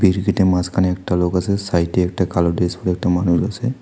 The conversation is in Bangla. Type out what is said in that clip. মাঝখানে একটা লোক আছে সাইডে একটা কালো ড্রেস পরে একটা মানুষ আছে।